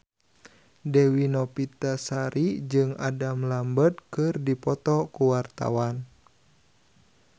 Dewi Novitasari jeung Adam Lambert keur dipoto ku wartawan